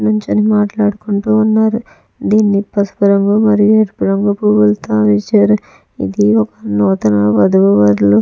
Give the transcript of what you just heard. నుంచొని మాట్లాడుకుంటూ ఉన్నారు. దీన్ని పసుపు రంగు మరియు ఎరుపు రంగు పూలతో ఇది ఒక నూతన వధూవరులు --